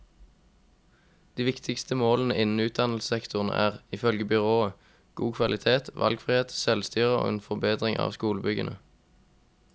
De viktigste målene innen utdannelsessektoren er, ifølge byrådet, god kvalitet, valgfrihet, selvstyre og en forbedring av skolebyggene.